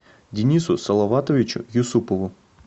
денису салаватовичу юсупову